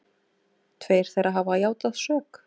Tveir þeirra hafa játað sök